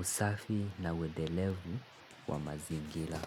usafi na uendelevu wa mazingira.